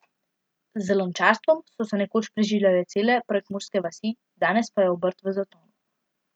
Z lončarstvom so se nekoč preživljale cele prekmurske vasi, danes pa je obrt v zatonu.